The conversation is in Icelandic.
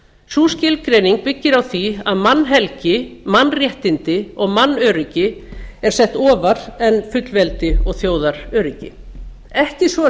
sú skilgreining byggir á því að mannhelgi mannréttindi og mannöryggi er sett ofar en fullveldið og þjóðaröryggi ekki svo að